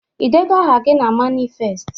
Ị deego aha gị na manifest?